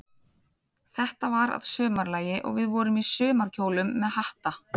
Þetta var að sumarlagi, og við vorum í sumarkjólum með hatta.